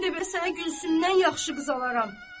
Mən də bəs sənə Gülsümdən yaxşı qız alaram.